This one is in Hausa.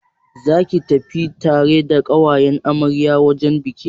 Zaka tafi tare da ƙawayen amaryar wajen bikin?